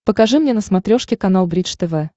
покажи мне на смотрешке канал бридж тв